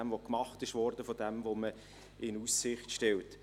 zu dem, was gemacht wurde, und zu dem, was man in Aussicht stellt.